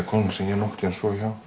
konan sem ég hef sofið hjá